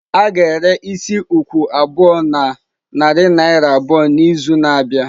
A ga-ere isi isi ukwu abụọ na narị naira abụọ n'izu na-abịa.